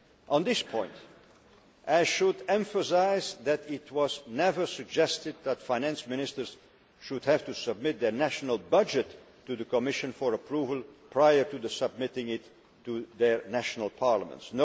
On this point, I should emphasise that it was never suggested that Finance Ministers should have to submit their national budget to the Commission for approval prior to submitting it to their national parliaments.